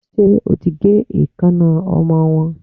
Ṣé o ti gé eekańná ọmọ wọ́n.